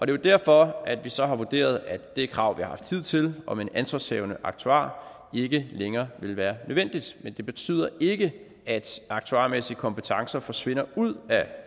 jo derfor at vi så har vurderet at det krav vi har haft hidtil om en ansvarshavende aktuar ikke længere vil være nødvendigt men det betyder ikke at aktuarmæssige kompetencer forsvinder ud af